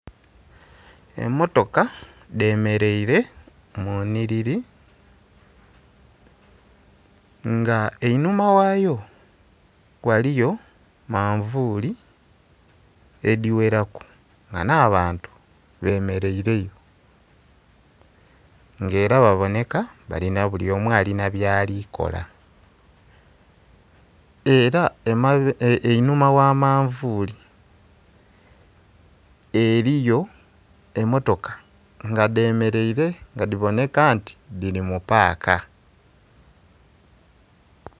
Emmotoka dhemeleire mu nnhiliri nga einhuma ghayo ghaliyo manvuuli edhigheraku nga nh'abantu bemereireyo nga era babonheka buli omu alina byali kola. Era einhuma gha manvuuli eriyo emmotoka nga dhemeleire nga dhibonheka nti dhiri mu paaka.